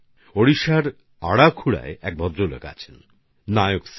ওড়িশার অরাখুড়ায় এক ভদ্রলোক আছেননায়ক স্যার